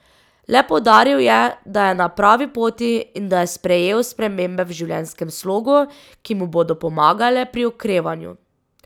Le poudaril je, da je na pravi poti in da je sprejel spremembe v življenjskem slogu, ki mu bodo pomagale pri okrevanju.